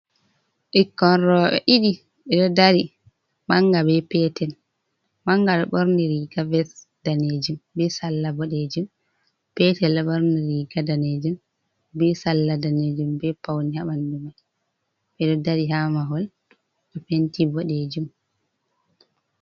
Ɓikkon roɓe ɗiɗi ɓeɗo dari manga be petel manga ɗo ɓorni riga ves danejum be salla boɗejum petel ɓorni riga danejum be salla danejum be paune ha ɓandu mai ɓeɗo dari ha mahol be penti boɗejum.